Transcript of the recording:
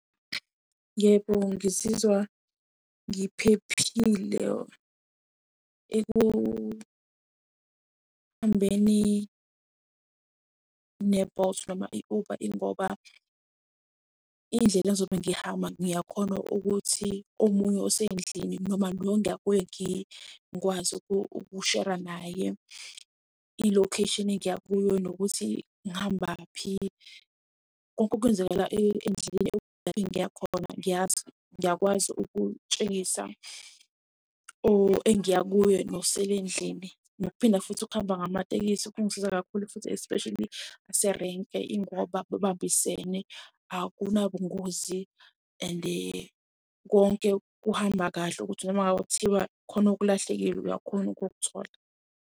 Yebo, ngizizwa ngiphephile ekuhambeni ne-Bolt noma i-Uber ingoba indlela engizobe ngihamba, ngiyakhona ukuthi omunye osendlini noma lo engiya kuye ngingakwazi ukushera naye ilokheshini engiya kuyo nokuthi ngihambaphi konke okwenzakala endleleni engiya khona ngiyazi ngiyakwazi ukutshengisa or engiya kuye nosele endlini. Nokuphinda futhi ukuhamba ngamatekisi kungisiza kakhulu futhi especially ngaserenki ingoba babambisene. Akunabungozi and konke kuhamba kahle ukuthi noma ngabe kuthiwa khona okulahlekile uyakhona ukukuthola.